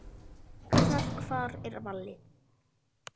Bækurnar Hvar er Valli?